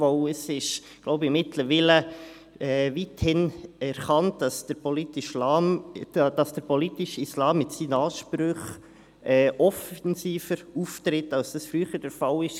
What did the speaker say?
Ich glaube, es ist mittlerweile weithin anerkannt, dass der politische Islam mit seinem Anspruch offensiver auftritt, als dies früher der Fall war.